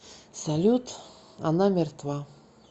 салют она мертва